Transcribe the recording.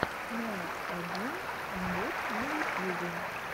ноаодинэмбот на ютьюбе